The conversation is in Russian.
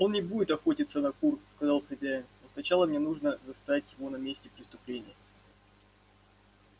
он не будет охотиться на кур сказал хозяин но сначала мне нужно застать его на месте преступления